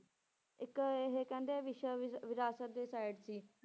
ਇੱਕ ਇਹ ਕਹਿੰਦੇ ਵਿਸ਼ਵ ਵਿ~ ਵਿਰਾਸਤ ਦੇ side ਸੀ।